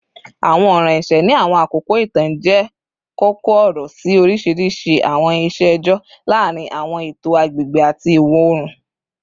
Awọn ọran ẹṣẹ ni awọn akoko itan jẹ koko-ọrọ si oriṣiriṣi awọn iṣe ẹjọ laarin awọn eto agbegbe ati iwọ-oorun